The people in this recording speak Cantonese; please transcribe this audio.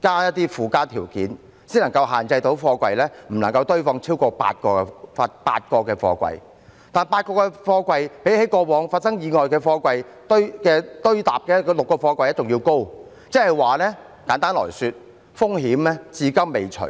加入一些附加條件才能限制貨櫃場不能夠堆放超過8個貨櫃，但8個貨櫃比起過往發生意外的貨櫃堆疊的6個貨櫃還要高，即簡單來說，風險至今未除。